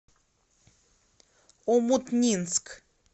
омутнинск